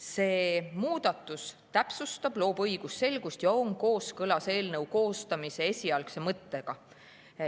See muudatus loob õigusselgust ja on kooskõlas eelnõu koostamise esialgse mõttega.